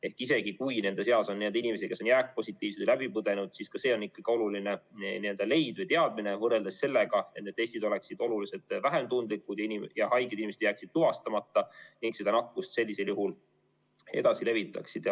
Ehk isegi kui nende seas on inimesi, kes on jääkpositiivsed või läbipõdenud, siis ka see on oluline leid või teadmine võrreldes sellega, et need testid oleksid oluliselt vähem tundlikud ja haiged inimesed jääksid tuvastamata ning seda nakkust sellisel juhul edasi levitaksid.